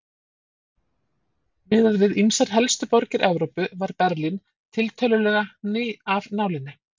Miðað við ýmsar helstu borgir Evrópu var Berlín tiltölulega ný af nálinni.